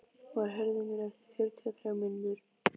Már, heyrðu í mér eftir fjörutíu og þrjár mínútur.